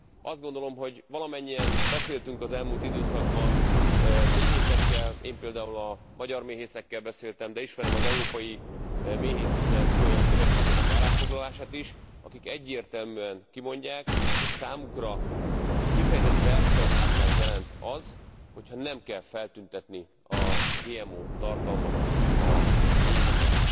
Azt gondolom, hogy valamennyien beszéltünk az elmúlt időszakban méhészekkel, én például a magyar méhészekkel beszéltem, de ismerem az Európai Méhészek Szövetségének állásfoglalását is, akik egyértelműen kimondják, hogy számukra kifejezett versenyhátrányt jelent az, hogy ha nem kell feltüntetni a GMO tartalmat a mézeken.